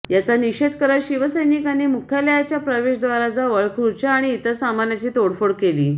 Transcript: याचा निषेध करत शिवसैनिकांनी मुख्यालयाच्या प्रवेशद्वाराजवळ खुर्च्या आणि इतर सामानाची तोडफोड केली